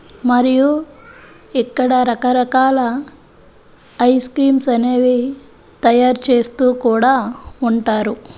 మరియు ఇక్కడ రకరకాల ఐస్ క్రీమ్స్ అనేవి తయారు చేస్తూ కూడా ఉంటారు.